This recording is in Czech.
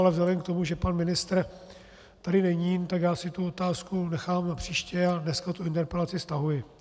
Ale vzhledem k tomu, že pan ministr tady není, tak já si tu otázku nechám na příště a dneska tu interpelaci stahuji.